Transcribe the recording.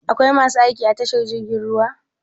Akwai masu aiki a tashar jirgin ruwa?